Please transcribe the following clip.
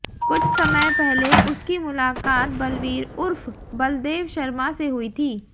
कुछ समय पहले उसकी मुलाकात बलवीर उर्फ बलदेव शर्मा से हुई थी